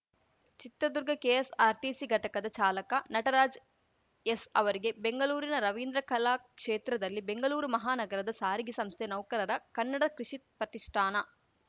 Chitradurga KSRTC ಘಟಕದ ಚಾಲಕ ನಟರಾಜ್‌ಎಸ್‌ ಅವರಿಗೆ ಬೆಂಗಲೂರಿನ ರವೀಂದ್ರ ಕಲಾ ಕ್ಷೇತ್ರದಲ್ಲಿ ಬೆಂಗಲೂರು ಮಹಾನಗರದ ಸಾರಿಗೆ ಸಂಸ್ಥೆ ನೌಕರರ ಕನ್ನಡ ಕೃಷಿ ಪ್ರತಿಷ್ಠಾನ